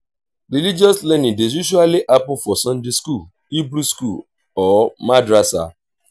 religious learning dey usually happen for sunday school hebrew school or madrasa